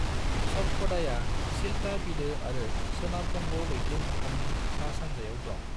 सतपदाया चिल्का बिलो आरो सोनाब बंग लैथो मोखांनि सा-सानजायाव दं।